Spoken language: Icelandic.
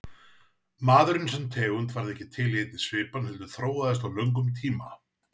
Maðurinn sem tegund varð ekki til í einni svipan heldur þróaðist á löngum tíma.